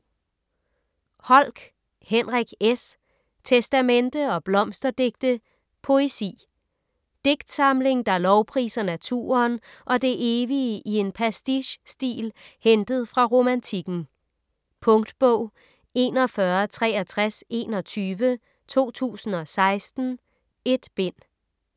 Holck, Henrik S.: Testamente & blomsterdigte: poesi Digtsamling der lovpriser naturen og det evige i en pastiche-stil hentet fra Romantikken. Punktbog 416321 2016. 1 bind.